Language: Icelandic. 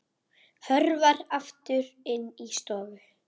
Hörfar aftur inn í stofu.